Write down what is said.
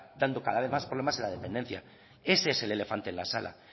dando cada vez más problemas en la dependencia y ese es el elefante en la sala